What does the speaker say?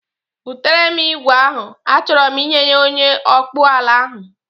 Butere m igwe ahụ, achọro m inye ya onye ọkpụọla ahụ